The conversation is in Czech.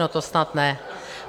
No to snad ne!